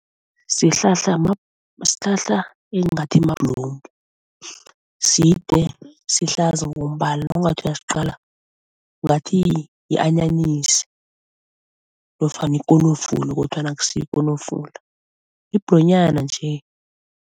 Sihlahla sihlahla engathi mabhlomu. Side, sihlaza ngombala, nawungathi uyasiqala ngathi yi-anyanyisi nofana ikonofula kodwana akusiyo ikonofula, yibhlonyana nje.